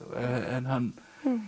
en hann